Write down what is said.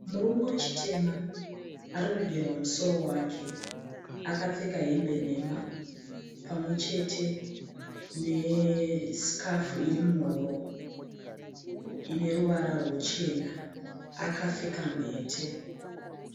Murume wechitema arikugerwa musoro wake akapfeka hembe nhema pamwechete ne sikafu iri muhuro ine ruvara rwuchena akapfeka mhete.